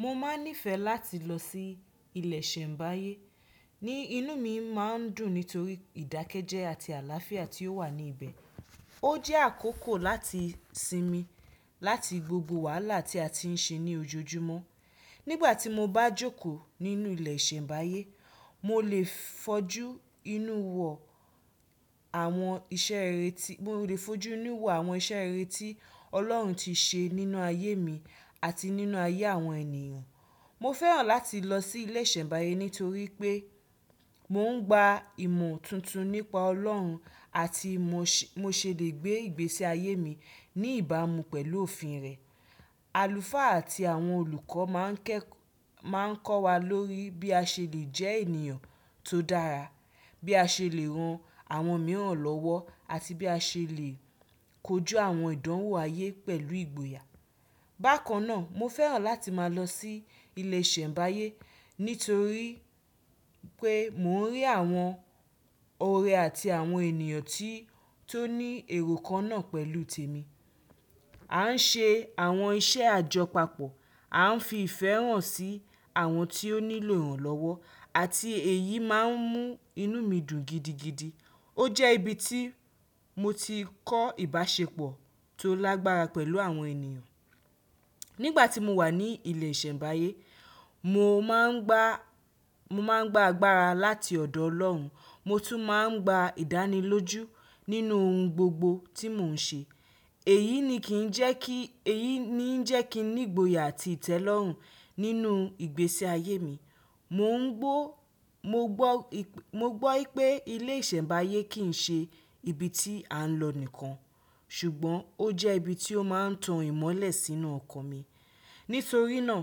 Mo máa nífẹ̀ẹ́ láti lọ sí ilé ìsẹ̀mbáyé. Ni inú mi máa ń dùn nítorí ìdákẹ́jẹ́ àti àlàáfíà tí ó wà ní ibẹ̀. Ó jẹ́ àkókò láti sinmi láti gbogbo wàhálà tí a ti ń ṣe ní ojojúmọ́. Nígbà tí mo bá jókòó nínú ilé ìsẹ̀mbáyé, mo lè fojú inú wo àwọn iṣẹ́ rere tí Ọlọ́run ti ṣe nínú ayé mi àti nínú ayé àwọn ènìyàn. Mo fẹ́ràn láti lọ sí ilé ìsẹ̀mbáyé nítorí pé mò ń gba ìmọ̀ tuntun nípa Ọlọ́run àti mo ṣe lè gbé ìgbésí ayé mi ní ìbámu pẹ̀lú òfin rẹ̀. Àlùfáà àti àwọn olùkọ́ máa ń kọ́ wa lórí bí a ṣe lè jẹ́ ènìyàn tó dára, bí a ṣe lè ran àwọn mìíràn lọ́wọ́ àti bí a ṣe lè kojú àwọn ìdánwò ayé pẹ̀lú ìgboyà. Bákan náà, mo fẹ́ràn láti máa lọ sí ilé ìsẹ̀mbáyé nítorí pé mò ń rí àwọn ọ̀rẹ́ àti àwọn ènìyàn tó ní èrò kan náà pẹ̀lú tèmi. A ń ṣe àwọn iṣẹ́ àjọpapọ̀, a ń fi ìfẹ́ hàn sí àwọn tí ó nílò ìrànlọ́wọ́ àti èyí máa ń mú inú mi dùn gidigidi. Ó jẹ́ ibi tí mo ti kọ́ ìbáṣepọ̀ tó lágbára pẹ̀lú àwọn ènìyàn. Nígbà tí mo wà ní ilé ìsẹ̀mbáyé, mo máa ń gba agbára láti ọ̀dọ̀ Ọlọ́run, mo tún máa ń gba ìdánilójú nínú ohun gbogbo tí mò ń ṣe. Èyí ni ń jẹ́ kí n ní ìgboyà àti ìtẹ́lọ́rùn nínú ìgbésí ayé mi. Mo ngbọ́ Mo gbọ́ pé ilé ìsẹ̀mbáyé kì í ṣe ibi tí à ń lọ nìkan, ṣùgbọ́n ó jẹ́ ibi tí ó máa ń tan ìmọ́lẹ̀ sínú ọkàn mi. Nítorí náà,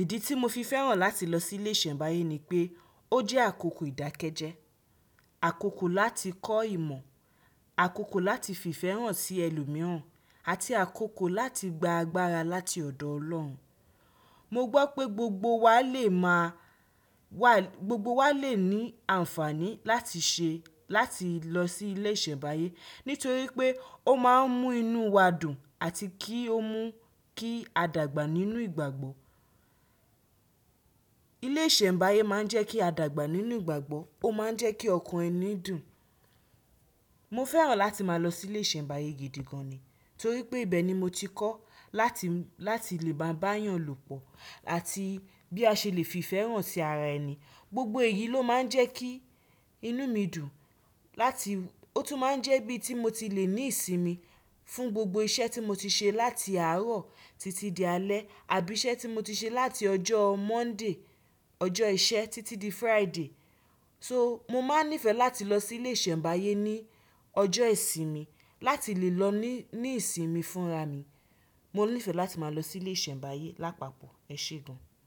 ìdí tí mo fi fẹ́ràn láti lọ sí ilé ìsẹ̀mbáyé ni pé ó jẹ́ àkókò ìdákẹ́jẹ́, àkókò láti kọ́ ìmọ̀, àkókò láti fi ìfẹ́ hàn sí ẹlòmíràn àti àkókò láti gba agbára láti ọ̀dọ̀ Ọlọ́run. Mo gbọ́ pé gbogbo wa lè ní àǹfààní láti lọ sí ilé ìsẹ̀mbáyé nítorí pé ó máa ń mú inú wa dùn àti kí a dàgbà nínú ìgbàgbọ́. Ilé ìsẹ̀mbáyé máa ń jẹ́ kí a dàgbà nínú ìgbàgbọ́, ó máa ń jẹ́ kí ọkàn ẹni dùn. Mo fẹ́ràn láti máa lọ sí ilé ìsẹ̀mbáyé gidigan ni torí pé ibẹ̀ ni mo ti kọ́ láti lè bá ń bá ènìyàn lòpọ̀ àti bí a ṣe lè fi ìfẹ́ hàn sí ara ẹni. Gbogbo èyí ló máa ń jẹ́ kí inú mi dùn. Láti Ó tún máa ń jẹ́ ibi tí mo ti lè ní ìsinmi fún gbogbo iṣẹ́ tí mo ti ṣe láti àárọ̀ títí di alẹ́ àbí iṣẹ́ tí mo ti ṣe láti ọjọ́ Monday, ọjọ́ ìṣẹ́ títí di Friday. So, mo máa nífẹ̀ẹ́ láti lọ sí ilé ìsẹ̀mbáyé ní ọjọ́ ìsinmi láti lè lọ ní ìsinmi fúnra mi. Mo nífẹ̀ẹ́ láti máa lọ sí ilé ìsẹ̀mbáyé lápapọ̀, ẹ ṣe gan.